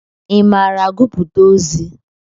Ị maara agụpụta ozi?